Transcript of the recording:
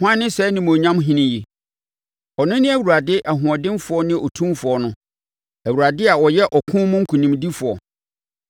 Hwan ne saa Animuonyam Ɔhene yi? Ɔno ne Awurade ɔhoɔdenfoɔ ne otumfoɔ no; Awurade a ɔyɛ ɔko mu nkonimdifoɔ.